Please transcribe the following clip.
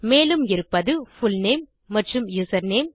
மேலும் இருப்பது புல்நேம் மற்றும் யூசர்நேம்